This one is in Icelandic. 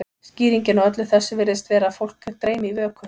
skýringin á þessu öllu virðist vera að fólk dreymi í vöku